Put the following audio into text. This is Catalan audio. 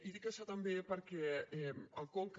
i dic això també perquè al conca